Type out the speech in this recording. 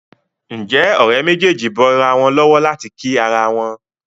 Nje Òré méjèjì bó ira wón lówó láti kí àrà wón?